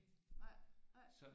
Nej nej